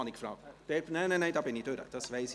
, zu diesem habe ich Sie befragt, das weiss ich.